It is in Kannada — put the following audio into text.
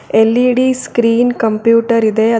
ಎಲ್_ಈ_ಡಿ ಸ್ಕ್ರೀನ್ ಕಂಪ್ಯೂಟರ್ ಇದೆ ಅದ್ರ್--